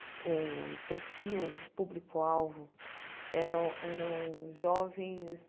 O perfil, o público-alvo eram eram jovens